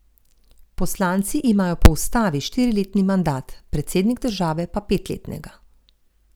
Poslanci imajo po ustavi štiriletni mandat, predsednik države pa petletnega.